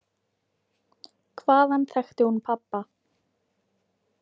Hvaðan þekkti hún pabba?